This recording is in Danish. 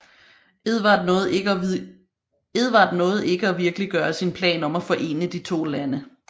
Edvard nåede ikke at virkeliggøre sin plan om at forene de to lande